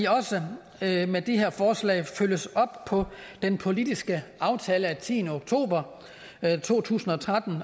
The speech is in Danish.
også med de her forslag følges op på den politiske aftale af tiende oktober to tusind og tretten